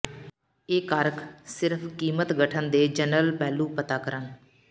ਇਹ ਕਾਰਕ ਸਿਰਫ ਕੀਮਤ ਗਠਨ ਦੇ ਜਨਰਲ ਪਹਿਲੂ ਪਤਾ ਕਰਨ